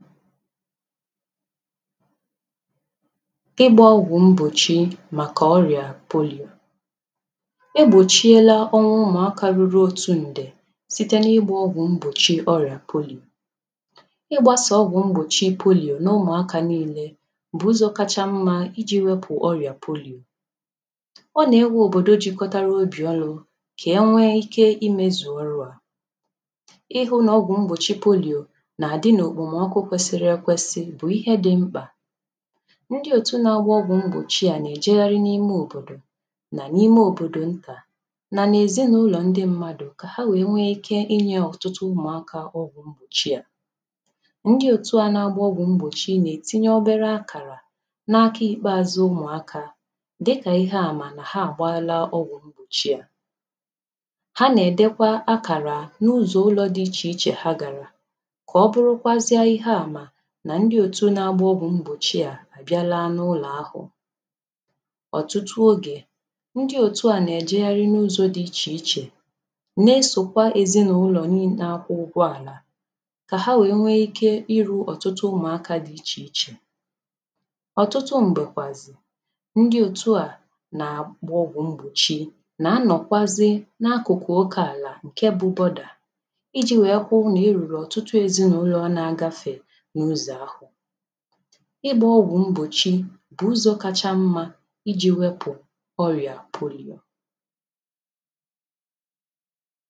ịgba ọgwụ mgbochi maka ọrịa poliò igbochiela ọnwa ụmụaka ruru otu ndè site n’ịgba ọgwụ mgbochi ọrịa poliò ịgbasà ọgwụ mgbochi poliò n’ụmụaka niilė bu ụzọ kacha mmȧ iji wepù ọrịa poliò ọ na-ewe obodo jikọtara obì ọnụ̇ ka e nwee ike ime zùo ọrụ à ihe ọgwụ mgbochi poliò ndị òtù na-agba ọgwụ̀ mgbochi à nà-èjegharị n’ime òbòdò nà n’ime òbòdò ntà nà nà èzinàụlọ̀ ndị mmadụ̀ kà ha nwèe nwee ike inyė inye ọ̀tụtụ ụmụ̀akȧ ọgwụ̀ mgbochi à ndị òtù a nà-agba ọgwụ̀ mgbochi à nà-ètinye obere akàrà na-akọ̇ ikpeazụ̇ ụmụ̀akȧ dịkà ihe àmà nà ha àgba ala ọgwụ̀ mgbochi à ha nà-èdekwa akàrà n’ụzọ̀ ụlọ̇ dị ichè ichè ha gàrà ndị òtu na-agba ogbu mgbochi à bịa laa n’ụlọ̀ ahụ̀ ọtụtụ ogè ndị òtu à nà-èjegharị n’ụzọ̇ dị ichè ichè na-esòkwa ezinàụlọ̀ n’akwụ ụgwọ̇ àlà kà ha wèe nwe ike iru̇ ọtụtụ ụmụ̀akȧ dị ichè ichè ọtụtụ m̀gbèkwàzị̀ ndị òtù a nà-àgbọgwù mgbòchi nà-anọ̀kwazị n’akụ̀kụ̀ ụkọ̀ àlà ǹke bụbọdà iji̇ wèe kwụ̇ nà i rùrù ọtụtụ ezinàụlọ̀ nà agafè ịgbȧ ọgwụ̀ mbòchi bụ̀ ụzọ̀ kacha mmȧ iji̇ wepụ̀ ọrịà pụ̀rụ̀ ime